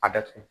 A datugu